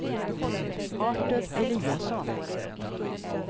Artur Eliasson